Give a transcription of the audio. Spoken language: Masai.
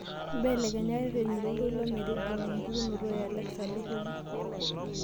mbelekenya ireteni loltoilo metijing'a empukunoto e alexa doropu